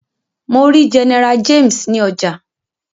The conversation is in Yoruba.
Mọ rí General James ní ọjà.